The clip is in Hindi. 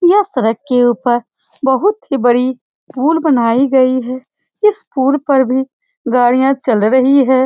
यह सड़क के ऊपर बहुत ही बड़ी पुल बनाई गई है । इस पुल पर भी गाड़ियाँ चल रही है ।